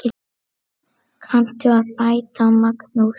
Kanntu að bæta, Magnús?